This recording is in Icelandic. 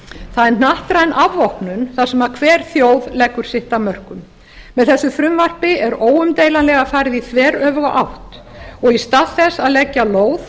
það er hnattræn afvopnun þar sem hver þjóð leggur sitt af mörkum með þessu frumvarpi er óumdeilanlega farið í þveröfuga átt og í stað þess að leggja lóð